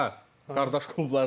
Hə hə, qardaş klublardır.